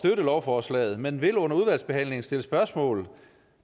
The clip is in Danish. lovforslaget men vil under udvalgsbehandlingen stille spørgsmål